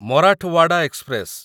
Marathwada express